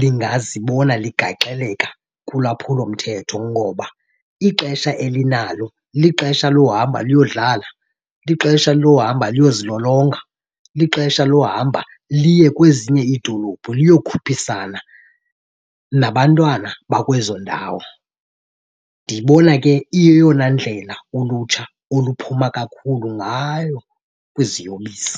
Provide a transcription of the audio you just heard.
lingazibona ligaxeleka kulwaphulomthetho. Ngoba ixesha elinalo lixesha lohamba luyadlala, lixesha lohamba luyozilolonga, lixesha lohamba liye kwezinye iidolophu luyokhuphisana nabantwana bakwezo ndawo. Ndiyibona ke iyeyona ndlela ulutsha oluphuma kakhulu ngayo kwiziyobisi.